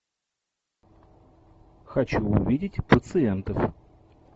хочу увидеть пациентов